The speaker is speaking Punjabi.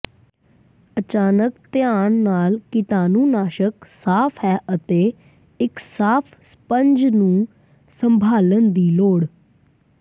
ਅਚਾਨਕ ਧਿਆਨ ਨਾਲ ਕੀਟਾਣੂਨਾਸ਼ਕ ਸਾਫ਼ ਹੈ ਅਤੇ ਇੱਕ ਸਾਫ਼ ਸਪੰਜ ਨੂੰ ਸੰਭਾਲਣ ਦੀ ਲੋੜ